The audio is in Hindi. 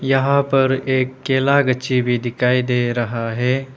यहां पर एक केला गच्ची भी दिखाई दे रहा है।